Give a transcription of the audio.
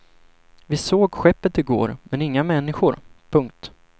Vi såg skeppet i går men inga människor. punkt